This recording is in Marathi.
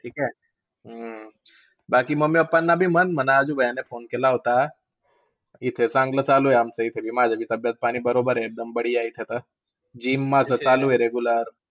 ठीक आहे? अं बाकी मग, mummy, papa ना पण म्हण म्हणावं आजू भैया ने phone केला होता. इथे चांगलं चालू आमचं इथे. माझं बी तबीयत पाणी बरोबर आहे. एकदम बढिया इथे तर. GYM माझं चालू आहे regular.